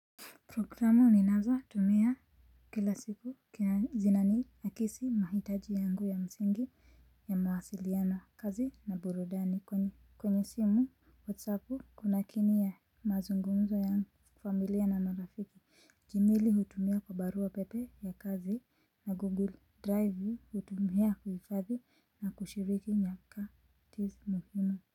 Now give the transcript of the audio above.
Programu ninazo tumia kila siku huwa zina ni nikisi mahitaji yangu ya msingi ya mawasiliano kazi na burudani kwenye kwenye simu whatsappu kuna kini ya mazungumzo ya familia na marafiki jimili hutumia kwa barua pepe ya kazi na google drive hutumia kuhifathi na kushiriki nyakati za muhimu.